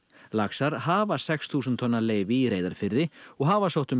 laxar hafa sex þúsund tonna leyfi í Reyðarfirði og hafa sótt um